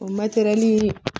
O matɛrɛli